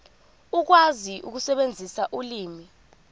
ukwazi ukusebenzisa ulimi